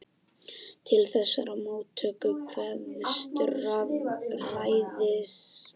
Til þessarar móttöku kveðst ræðismaðurinn hafa farið með hálfum huga.